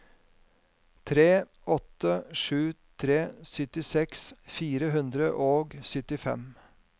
tre åtte sju tre syttiseks fire hundre og syttifem